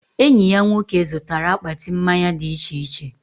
Enyi ya nwoke zụtara akpati mmanya dị iche iche